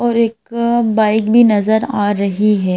और एक बाइक भी नजर आ रही है।